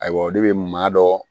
Ayiwa o de bɛ maa dɔ